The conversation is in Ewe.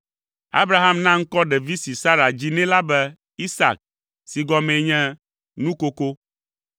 Abraham na ŋkɔ ɖevi si Sara dzi nɛ la be, Isak si gɔmee nye, “Nukoko.”